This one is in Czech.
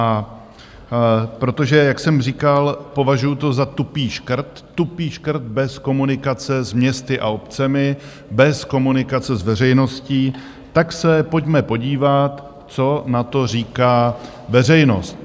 A protože, jak jsem říkal, považuju to za tupý škrt - tupý škrt bez komunikace s městy a obcemi, bez komunikace s veřejností - tak se pojďme podívat, co na to říká veřejnost.